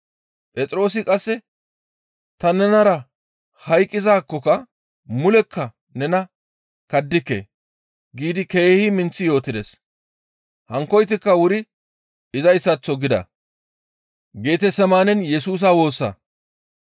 Phexroosi qasse, «Ta nenara hayqqizaakkoka mulekka nena kaddike» giidi keehi minththi yootides. Hankkoytikka wuri izayssaththo gida.